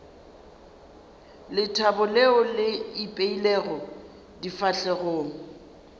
lethabo leo le ipeilego difahlegong